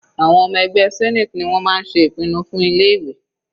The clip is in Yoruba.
Àwọn ọmọ ẹgbẹ́ senate ni wọ́n máa ń ṣe ìpinnu fún ilé ìwé.